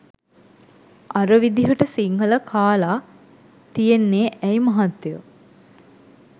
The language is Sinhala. අර විදිහට සිංහල කාලා තියෙන්නේ ඇයි මහත්තයෝ.